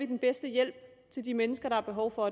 den bedste hjælp til de mennesker der har behov for